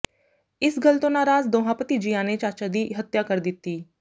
ਇਸ ਗੱਲ ਤੋਂ ਨਾਰਾਜ਼ ਦੋਹਾਂ ਭਤੀਜਿਆਂ ਨੇ ਚਾਚਾ ਦੀ ਹੱਤਿਆ ਕਰ ਦਿੱਤੀ